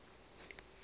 re n ha u ḽa